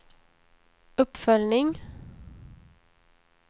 uppföljning